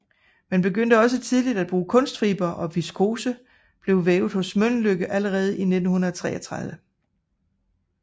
Man begyndte også tidligt at bruge kunstfiber og viskose blev vævet hos Mölnlycke allerede i 1933